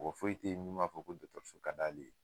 Mɔgɔ foyi te ye min b'a fɔ ko dɔgɔtɔrɔso ka d'ale ye